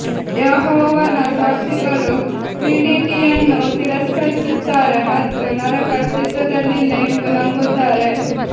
ಯೆಹೋವನ ಸಾಕ್ಷಿಗಳು ಟ್ರಿನಿಟಿಯನ್ನು ತಿರಸ್ಕರಿಸುತ್ತಾರೆ ಮತ್ತು ನರಕ ಅಸ್ತಿತ್ವದಲ್ಲಿಲ್ಲ ಎಂದು ನಂಬುತ್ತಾರೆ